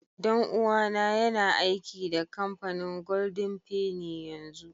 Dan uwa na yana aiki da kampanin golden fenny yanzu.